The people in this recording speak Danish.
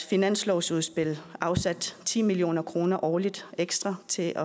finanslovsudspil afsat ti million kroner årligt ekstra til